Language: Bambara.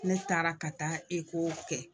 Ne taara ka taa kɛ